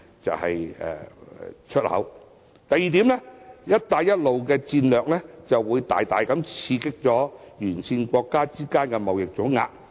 第二，"一帶一路"的戰略會大大刺激沿線國家之間的貿易總額。